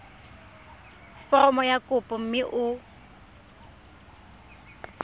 foromo ya kopo mme o